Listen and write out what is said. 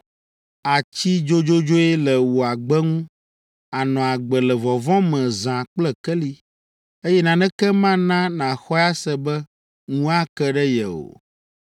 Àtsi dzodzodzoe le wò agbe ŋu, ànɔ agbe le vɔvɔ̃ me zã kple keli, eye naneke mana nàxɔe ase be ŋu ake ɖe ye o.